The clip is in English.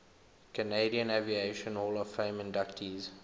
canadian aviation hall of fame inductees